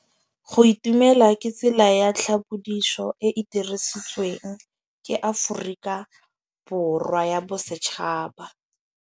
Go itumela ke tsela ya tlhapolisô e e dirisitsweng ke Aforika Borwa ya Bosetšhaba.